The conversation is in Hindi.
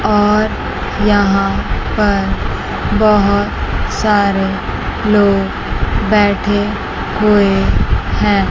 और यहां पर बहोत सारे लोग बैठे हुए हैं।